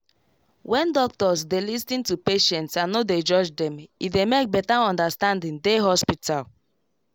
when doctors dey lis ten to patients and no dey judge them e dey make better understanding dey hospital